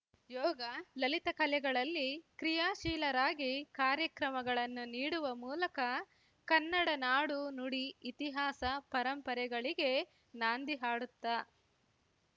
ಯೋಗ ಲಲಿತ ಕಲೆಗಳಲ್ಲಿ ಕ್ರಿಯಾಶೀಲರಾಗಿ ಕಾರ್ಯಕ್ರಮಗಳನ್ನು ನೀಡುವ ಮೂಲಕ ಕನ್ನಡ ನಾಡು ನುಡಿ ಇತಿಹಾಸ ಪರಂಪರೆಗಳಿಗೆ ನಾಂದಿ ಹಾಡುತ್ತಾ